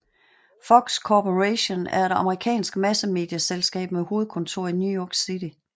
Fox Corporation er et amerikansk massemedieselskab med hovedkontor i New York City